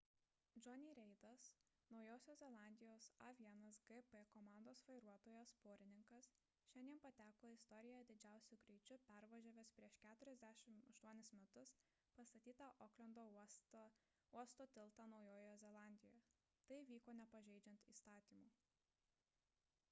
jonny's reidas naujosios zelandijos a1gp komandos vairuotojas porininkas šiandien pateko į istoriją didžiausiu greičiu pervažiavęs prieš 48 metus pastatytą oklendo uosto tiltą naujojoje zelandijoje tai vyko nepažeidžiant įstatymų